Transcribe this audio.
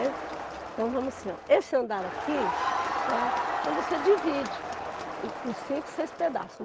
Então vamos assim, ó, esse andar aqui, né, então você divide em cinco, seis pedaços.